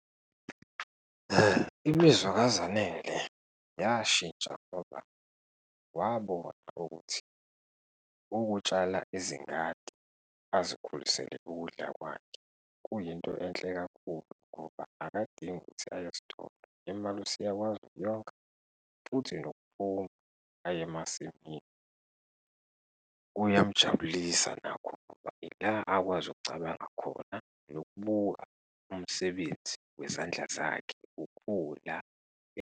Imizwa kaZanele yashintsha ngoba wabona ukuthi ukutshala izingadi, azikhulisele ukudla kwakhe kuyinto enhle kakhulu ngoba akadingi ukuthi aye esitolo, imali useyakwazi ukuyonga futhi nokuphuma aye emasimini, kuyamjabulisa nakho ngoba yila akwazi ukucabanga khona nokubuka umsebenzi wezandla zakhe ukhula.